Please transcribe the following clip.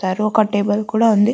Table కూడా ఉంది.